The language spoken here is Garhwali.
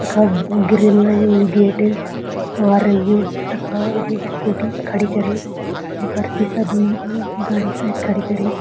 यखा ग-गिरिल लग्युं यु गेट और यु तखा स्कूटी खड़ी करीं बरसी सा दुई उ गाड़ी शायद कड़ी करीं।